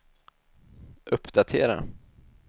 uppdatera